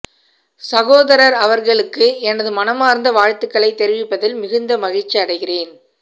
சகோதரர் அவர்களுக்கு எனது மனமார்ந்த வாழ்த்துக்களை தெரிவிப்பதில் மிகுந்த மகிழ்ச்சி அடைகிறேன்